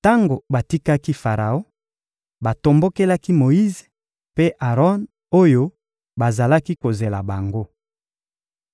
Tango batikaki Faraon, batombokelaki Moyize mpe Aron oyo bazalaki kozela bango.